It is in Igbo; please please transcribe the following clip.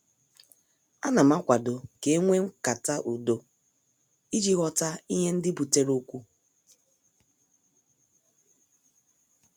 Anam akwado ka enwee nkata udo iji ghọta ihe ndị butere okwu.